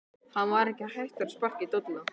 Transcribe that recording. Hann var ekki hættur að sparka í dolluna!